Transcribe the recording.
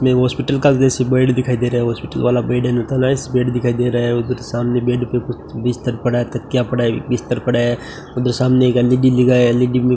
में हॉस्पिटल का दृश्य बेड दिखाई दे रहा है हॉस्पिटल वाला बेड बेड दिखाई दे रहा है उधर सामने बेड पे बिस्तर पड़ा है तकिया पड़ा है बिस्तर पड़ा है उधर सामने एक एल_ई_डी लगा है एल_ई_डी में --